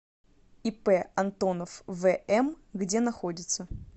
ип антонов вм где находится